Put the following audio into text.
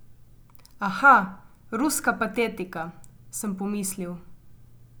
Aha, ruska patetika, sem pomislil.